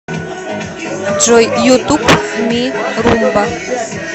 джой ютуб ми румба